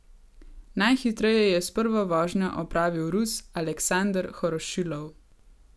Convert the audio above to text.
Najhitreje je s prvo vožnjo opravil Rus Aleksander Horošilov.